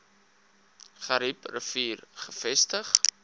garib rivier gevestig